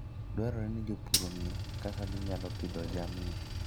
Dwarore ni jopur ong'e kaka ginyalo pidho jamni.